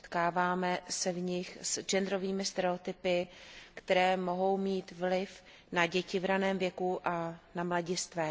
Setkáváme se v nich s genderovými stereotypy, které mohou mít vliv na děti v ranném věku a na mladistvé.